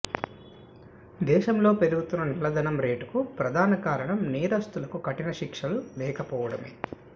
దేశంలో పెరుగుతున్న నల్లధనం రేటుకు ప్రధాన కారణం నేరస్తులకు కఠిన శిక్షలు లేకపోవడమే